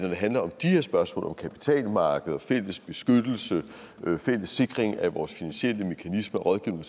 handler om de her spørgsmål om kapitalmarkeder og fælles beskyttelse og fælles sikring af vores finansielle mekanismer rådgivning